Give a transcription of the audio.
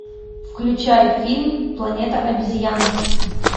включай фильм планета обезьян